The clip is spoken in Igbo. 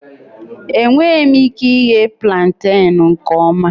Enweghị m ike ighe plantain nke ọma